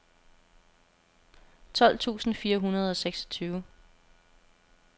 tolv tusind fire hundrede og seksogtyve